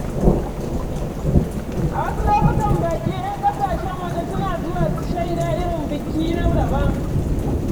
A wasu lokutan baƙi ƴan ƙasashen waje suna zuwa su shaida irin biki na daban.